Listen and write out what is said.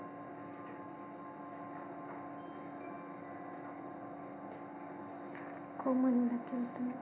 को